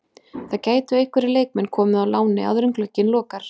Það gætu einhverjir leikmenn komið á láni áður en glugginn lokar.